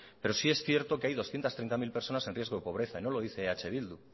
pero sí es cierto que hay doscientos treinta mil personas en riesgo de pobreza y no lo dice eh bildu